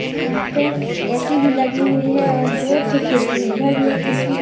एक यहां पे ए_सी भी लगी हुई है और दो ठे खिड़की है इधर भी एक खिड़की है।